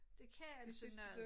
Det kan altså noget